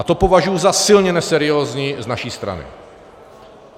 A to považuji za silně neseriózní z naší strany.